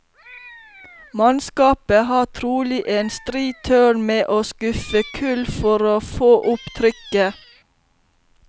Mannskapet har trolig en stri tørn med å skuffe kull for å få opp trykket.